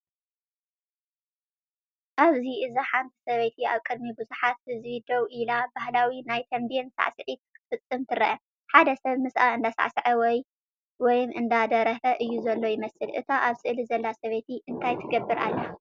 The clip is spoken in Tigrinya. ኣብዚ እዚ ሓንቲ ሰበይቲ ኣብ ቅድሚ ብዙሓት ህዝቢ ደው ኢላ ባህላዊ ናይ ተምቤን ስዕስዒት ክትፍጽም ትርአ። ሓደ ሰብ ምስኣ እንዳሳዕሰዐ ወይም አንዳደረፈ እዩ ዘሎ ይመስል። እታ ኣብ ስእሊ ዘላ ሰበይቲ እንታይ ትገብር ኣላ?